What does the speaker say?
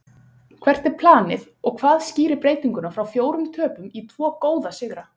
Hvert er planið og hvað skýrir breytinguna frá fjórum töpum í tvo góða sigra?